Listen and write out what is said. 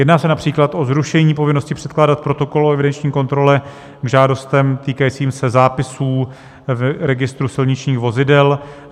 Jedná se například o zrušení povinnosti předkládat protokol o evidenční kontrole k žádostem týkajícím se zápisů v registru silničních vozidel.